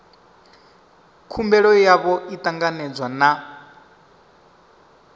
khumbelo yavho i ṱanganedzwe na